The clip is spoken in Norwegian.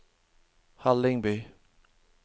Hallingby